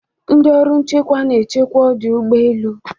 ndị ọrụ nchekwa na-echekwa ọdụ ụgbọ elu